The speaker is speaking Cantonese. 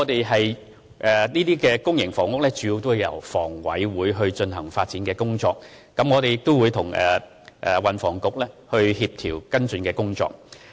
興建公營房屋的工作主要由房委會進行，我們亦會與運輸及房屋局協調跟進工作。